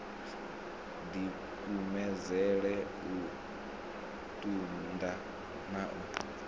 dikumedzele u tunda na u